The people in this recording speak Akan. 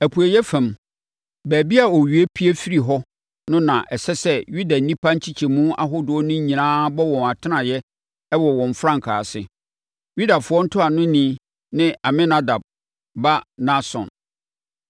Apueeɛ fam, baabi a owia pue firi hɔ no na ɛsɛ sɛ Yuda nnipa nkyekyɛmu ahodoɔ no nyinaa bɔ wɔn atenaeɛ wɔ wɔn frankaa ase. Yudafoɔ ntuanoni ne Aminadab ba Nahson.